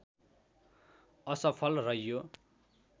असफल रह्यो